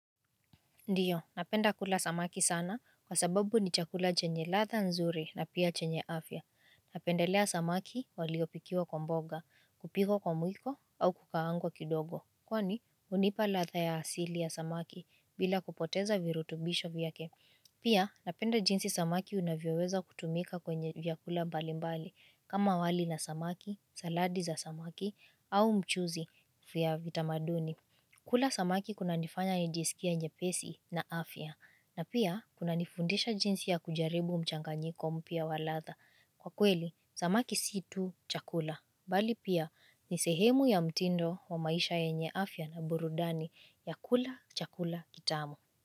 Ndio, napenda kula samaki sana kwa sababu ni chakula chenye ladha nzuri na pia chenye afya. Napendelea samaki waliyopikiwa kwa mboga, kupikwa kwa mwiko au kukaangwa kidogo. Kwani, hunipa ladha ya asili ya samaki bila kupoteza virutubisho vyake. Pia, napenda jinsi samaki unavyoweza kutumika kwenye vyakula mbalimbali kama wali na samaki, saladi za samaki au mchuzi vya vitamaduni. Kula samaki kunanifanya nijisikie nyepesi na afya, na pia kuna nifundisha jinsi ya kujaribu mchanganyiko mpya wa ladha. Kwa kweli, samaki si tu chakula, bali pia ni sehemu ya mtindo wa maisha yenye afya na burudani ya kula chakula kitamu.